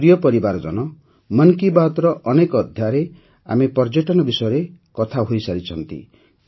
ମୋର ପ୍ରିୟ ପରିବାରଜନ ମନ୍ କି ବାତ୍ର ଅନେକ ଅଧ୍ୟାୟରେ ଆମେ ପର୍ଯ୍ୟଟନ ବିଷୟରେ କଥା ହୋଇଛନ୍ତି